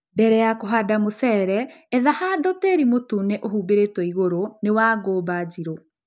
Mbele ya kũhanda mũcere, etha handũ tĩri mũtune ũhumbĩrĩtwo igũrũ nĩ wa ngumba njirũ